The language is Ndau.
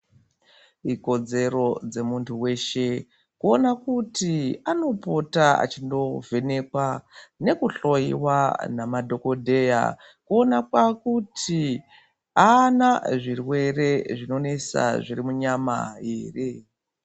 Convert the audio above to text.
Ikodzero dzemuntu weshe kuona kuti anopota achindovhenekwa nekuhloyiwa nemadhokodheya kuonekwa kuri aana zvirwere zvinoonesa zviri munyama ere.